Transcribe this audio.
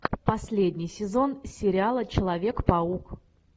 последний сезон сериала человек паук